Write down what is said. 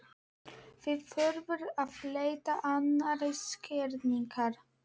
Því þurfti að leita annarra skýringa.